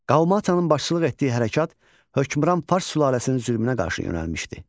Qalmatanın başçılıq etdiyi hərəkat hökmran fars sülaləsinin zülmünə qarşı yönəlmişdi.